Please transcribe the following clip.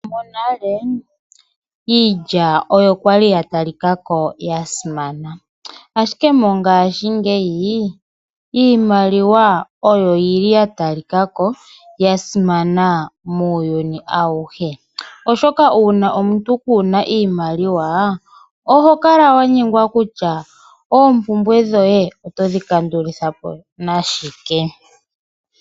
Monale iilya oyo kwali ya talikako ya simana. Ashike mongaashingeyi iimaliwa oyo yili ya talikako yasimana muuyuni awuhe. Oshoka ngele omuntu kuuna iimaliwa oto nyengwa kutya oompumbwe dhoye otodhi kandulapo nashike.